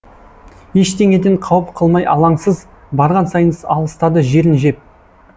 ештеңеден қауіп қылмай алаңсыз барған сайын алыстады жерін жеп